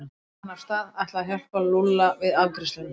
Svo rölti hann af stað, ætlaði að hjálpa Lúlla við afgreiðsluna.